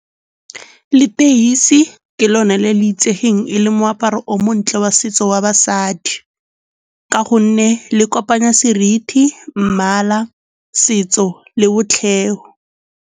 Leteisi ke lone le le itsegeng e le moaparo o montle wa setso wa basadi ka gonne le kopanya seriti, mmala, setso le .